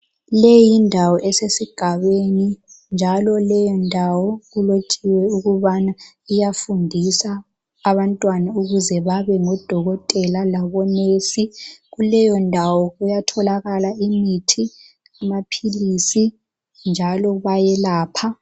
Leyi yindawo esesigabeni njalo leyi ndawo kulotshiwe ukubana iyafundisa abantwana ukuze babe ngodokotela labo"nurse".Kuleyondawo kuyatholakala imithi, amaphilisi njalo bayelapha.